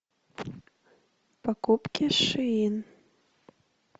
покупки шин